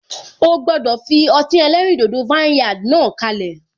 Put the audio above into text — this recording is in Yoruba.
O gbọdọ fi ọtí ẹlẹ́rìn dodo vineyard náà kalẹ.